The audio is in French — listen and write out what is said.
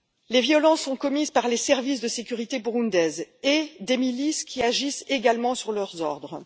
Les violences sont commises par les services de sécurité burundais et par des milices qui agissent également sur leurs ordres.